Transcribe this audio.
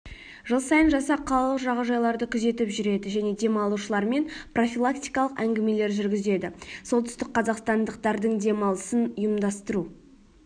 жыл сайын жасақ қалалық жағажайларды күзетіп жүреді және демалушылармен профилактикалық әңгімелер жүргізеді солтүстік қазақстандықтардың демалысын ұйымдастыру